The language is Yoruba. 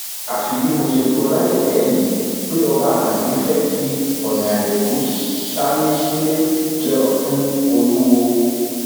àfi bí mo ṣe gbọ láìpẹ yìí pé ọba àkànbí fẹẹ fi ọnàrẹbù salinsílẹ jẹ ọtún olùwọọ